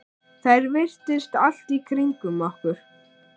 Þær virtust allt í kringum okkur.